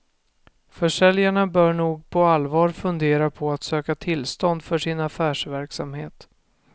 Försäljarna bör nog på allvar fundera på att söka tillstånd för sin affärsverksamhet.